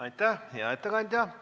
Aitäh, hea ettekandja!